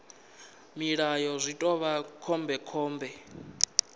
mulayo zwi ḓo vha khombekhombe